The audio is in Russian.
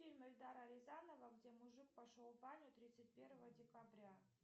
фильм эльдара рязанова где мужик пошел в баню тридцать первого декабря